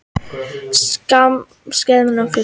Skafrenningur á fjallvegum